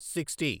sixty